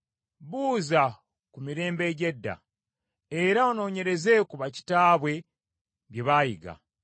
Buuza ku mirembe egy’edda, era onoonyereze ku bakitaabwe bye baayiga;